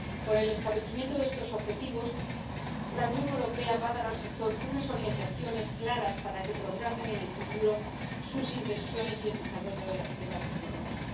Con el establecimiento de estos objetivos, la Unión Europea va a dar al sector unas orientaciones claras para que programen en el futuro sus inversiones y el desarrollo de la tecnología.